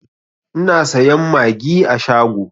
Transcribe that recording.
Ina sayan magi a shago